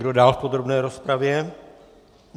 Kdo dál v podrobné rozpravě?